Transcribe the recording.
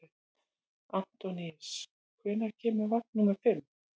Antóníus, hvenær kemur vagn númer fimm?